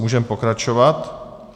Můžeme pokračovat.